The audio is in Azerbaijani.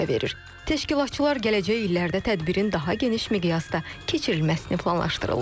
Təşkilatçılar gələcək illərdə tədbirin daha geniş miqyasda keçirilməsini planlaşdırırlar.